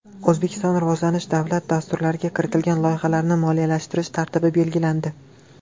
O‘zbekiston rivojlanish davlat dasturlariga kiritilgan loyihalarni moliyalashtirish tartibi belgilandi.